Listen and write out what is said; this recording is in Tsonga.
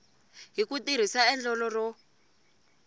hi ku tirhisa endlelo ro